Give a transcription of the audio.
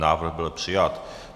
Návrh byl přijat.